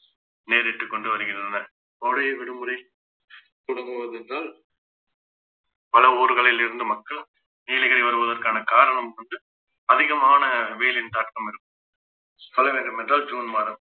நேரிட்டு கொண்டு வருகின்றன கோடை விடுமுறை தொடங்குவதென்றால் பல ஊர்களில் இருந்து மக்கள் நீலகிரி வருவதற்கான காரணம் வந்து அதிகமான வெயிலின் தாக்கம் இருக்கும் என்றால் ஜூன் மாதம்